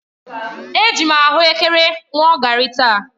Eji m ahuekere ṅụọ garri taa.